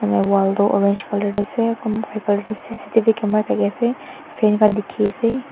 na wall toh orange colour tae ase c c t v camera thakiase fan khan dikhiase.